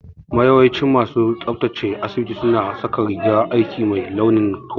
Yawancin masu tsabtace asibiti su na saka rigar aiki mai launin toka